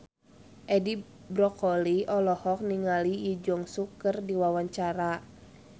Edi Brokoli olohok ningali Lee Jeong Suk keur diwawancara